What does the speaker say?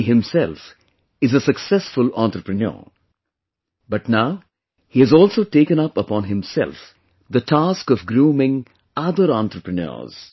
He himself is a successful entrepreneur, but now he has also taken up upon himself the task of grooming other entrepreneurs